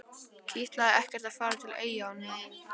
Kitlaði ekkert að fara til Eyja á ný?